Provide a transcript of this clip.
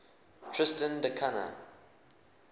tristan da cunha